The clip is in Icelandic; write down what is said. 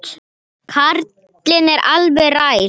Karlinn er elliær.